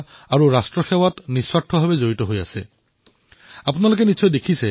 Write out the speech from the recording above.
উৰিষ্যাৰ দৈতাৰি নায়কৰ বিষয়ে আপোনালোকে নিশ্চয় শুনিছে